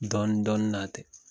Dɔnidɔni na ten